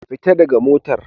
Fita daga motar